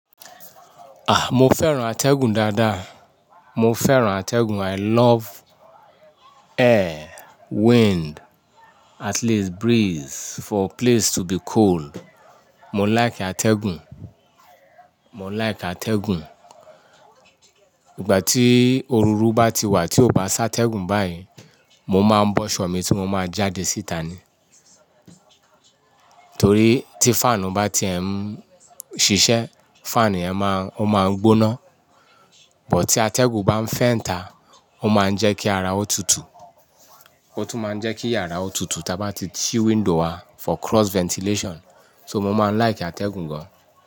Ah! Mo fẹ́ràn atẹ́gùn dáadáa. Mo fẹ́ràn atẹ́gùn. I love air, wind, at least breeze for place to be cold. Mo like atẹ́gùn. Mo like atẹ́gùn. Ìgbà tí òrùru bá ti wà tí ó bá sá tẹ́gùn báyìí, mo máa ń bọ́ṣọ̀ mi tí mo máa jáde síta ni. Torí tí fan bá ti ẹ̀ ń ṣiṣẹ́, fan yẹn máa, ó máa ń gbóná. But tí atẹ́gùn bá ń fẹ́ńta, ó máa ń jẹ́ kí ara ó tutù. Ó tún máa ń jẹ́ kí yàrá ó tutù tí a bá ti sí window wa for cross ventilation. So mo máa ń like atẹ́gùn gan.